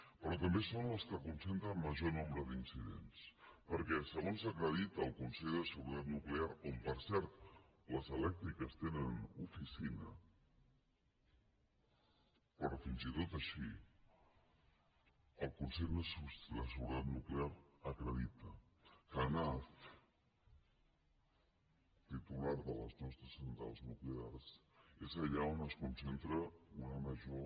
però també són les que concentren major nombre d’incidents perquè segons acredita el consell de seguretat nuclear on per cert les elèctriques tenen oficina però fins i tot així el consell de seguretat nuclear acredita que anav titular de les nostres centrals nuclears és allà on es concentra una major